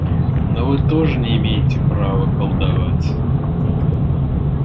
но вы тоже не имеете права колдовать